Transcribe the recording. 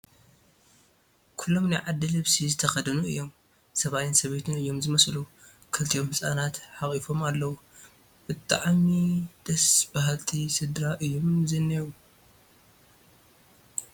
ኩሎም ናይ ዓዲ ልብሲ ዝተኸደኑ እዮም፡፡ ሰብኣይን ሰበይትን እዮም ዝመስሉ፡፡ ክልቲኦም ህፃናት ሓቒፎም ኣለዉ፡፡ ብጣዕዲ ደስ በሃልቲ ስድራ እዮም ዝኔዉ፡፡